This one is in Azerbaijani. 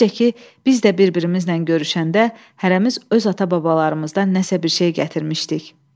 Necə ki, biz də bir-birimizlə görüşəndə hərəmiz öz ata-babalarımızdan nəysə bir şey gətirmişdik.